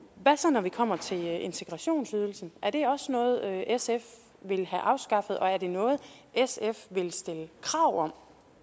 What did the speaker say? hvad så når vi kommer til integrationsydelsen er det også noget sf vil have afskaffet og er det noget sf vil stille krav om